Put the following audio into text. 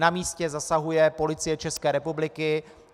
Na místě zasahuje Policie České republiky.